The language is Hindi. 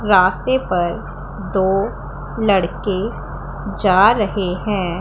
रास्ते पर दो लड़के जा रहे है।